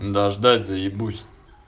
да ждать заебусь